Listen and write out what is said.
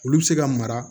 Olu bɛ se ka mara